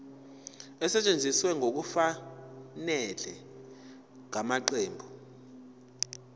esetshenziswe ngokungafanele ngamaqembu